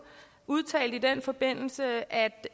udtalte i den forbindelse at